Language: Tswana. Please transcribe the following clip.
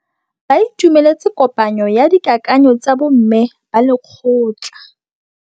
Ba itumeletse kôpanyo ya dikakanyô tsa bo mme ba lekgotla.